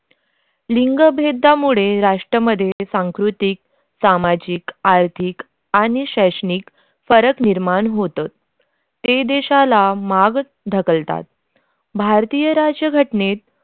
लिंगभेदमुळे राष्ट्रांमध्ये सांस्कृतिक सामाजिक आर्थिक आणि शैक्षणिक फरक निर्माण होतं ते देशाला माग ढकलतात भारतीय राज्यघटनेत.